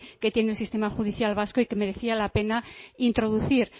que tiene el sistema judicial vasco y que merecía la pena introducir